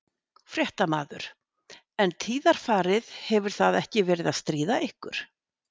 Fréttamaður: En tíðarfarið, hefur það ekkert verið að stríða ykkur?